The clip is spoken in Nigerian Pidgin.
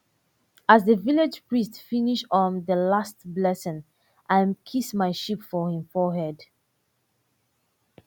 as the village priest finish um the last blessing i miss my sheep for him forehead